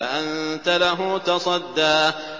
فَأَنتَ لَهُ تَصَدَّىٰ